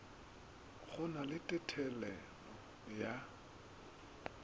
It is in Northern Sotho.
go na le thethelelo ya